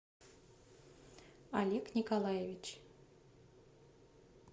олег николаевич